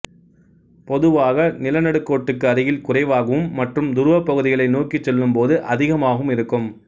பொதுவாக நிலநடுக்கோட்டுக்கு அருகில் குறைவாகவும் மற்றும் துருவப்பகுதிகளை நோக்கிச் செல்லும் போது அதிகமாகவும் இருக்கும்